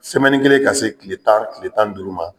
kelen ka se tile tan tile tan ni duuru ma